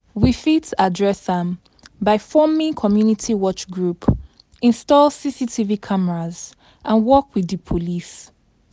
We fit address am by forming community watch group, install CCTV cameras and work with di police.